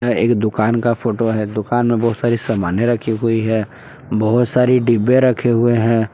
एक दुकान का फोटो है दुकान मे बहुत सारी समाने रखी हुई है। बहुत सारी डब्बे रखे हुए है।